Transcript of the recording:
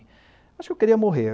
Acho que eu queria morrer.